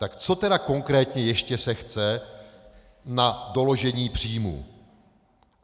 Tak co tedy konkrétně ještě se chce na doložení příjmů?